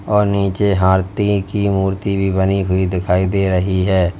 और नीचे हारती की मूर्ति भी बनी हुईं दिखाई दे रही है।